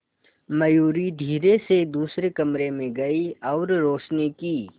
मयूरी धीरे से दूसरे कमरे में गई और रोशनी की